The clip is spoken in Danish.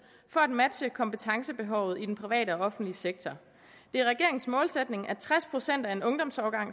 for at matche kompetencebehovet i den private og offentlige sektor det er regeringens målsætning at tres procent af en ungdomsårgang